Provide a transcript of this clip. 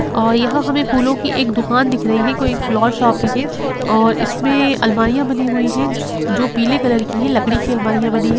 और यह हमे फूलो की एक दुकान दिख रही है कोई फ्लॉवर शॉप है ये और इसमें अलमारिया बनी हुई है जो पीले कलर की है लकड़ी की अलमारिया बनी है।